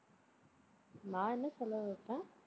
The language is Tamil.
நான் என்ன செலவு வைப்பேன்?